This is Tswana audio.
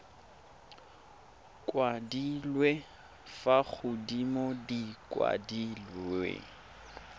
kwadilwe fa godimo di kwadilwe